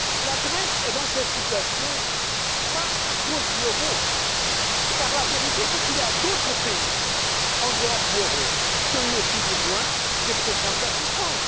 La Grèce est dans cette situation, non à cause de l'euro, car la vérité, c'est qu'il y a d'autres pays hors de la zone euro qui ont eu également besoin des programmes d'assistance.